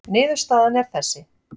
Niðurstaðan er þessi